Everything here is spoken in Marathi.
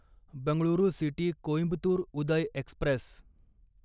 Bengaluru city Coimbatore Uday Express